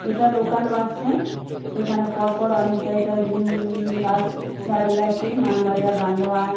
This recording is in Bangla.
এটা লোকাল বাস স্ট্যান্ড এখানে পরপর অনেক জায়গার উম বাস দাঁড়িয়ে আছে মানবাজার বান্দোয়ান।